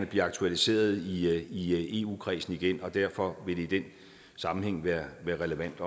bliver aktualiseret i eu kredsen igen derfor vil det i den sammenhæng være relevant